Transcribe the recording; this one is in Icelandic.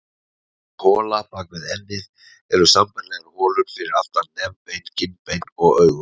Auk hola bak við ennið eru sambærilegar holur fyrir aftan nefbein, kinnbein og augu.